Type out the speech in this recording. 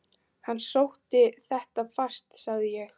Hann sótti þetta fast sagði ég.